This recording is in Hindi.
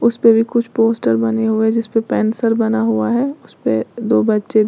उसे पे भी कुछ पोस्टर बने हुए हैं जिस पे पेंसिल बना हुआ है उसे पे दो बच्चे --